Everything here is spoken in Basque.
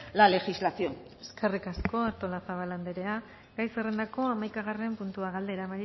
la legislación eskerrik asko artolazabal anderea gai zerrendako hamaikagarren puntua galdera